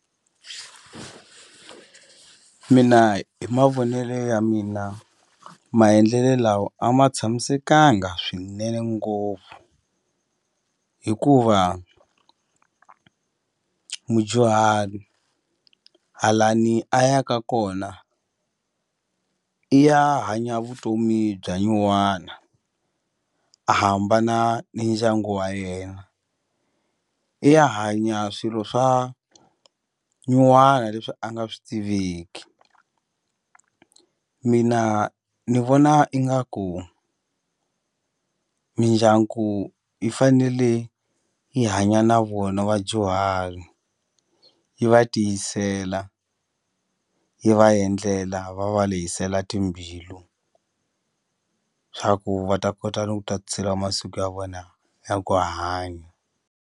Mina hi mavonele ya mina maendlelo lawa a ma tshamisekanga swinene ngopfu hikuva mudyuhari a lani a ya ka kona i ya hanya vutomi bya nyuwana a hambana ni ndyangu wa yena i ya hanya swilo swa nyuwana leswi a nga swi tiveki mina ni vona ingaku mindyangu yi fanele yi hanya na vona vadyuhari yi va tiyisela yi va endlela va va lehisela timbilu swa ku va ta kota ni ku tatiseliwa masiku ya vona ya ku hanya.